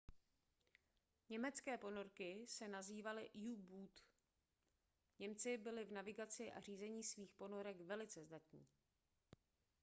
německé ponorky se nazývaly u-boot němci byli v navigaci a řízení svých ponorek velice zdatní